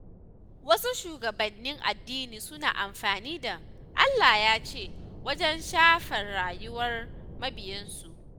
Wasu shugabannin addini suna amfani da “Allah ya ce” wajen shafar rayuwar mabiyansu.